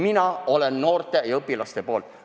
Mina olen noorte ja õpilaste poolt.